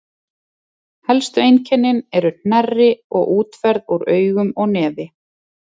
helstu einkennin eru hnerri og útferð úr augum og nefi